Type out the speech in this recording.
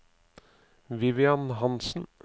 Vivian Hansen